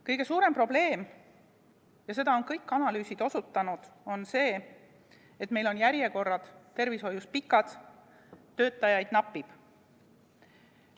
Kõige suurem probleem – ja sellele on kõik analüüsid osutanud – on see, et meil on tervishoius järjekorrad pikad, töötajaid napib.